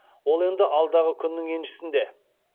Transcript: ол енді алдағы күннің еншісінде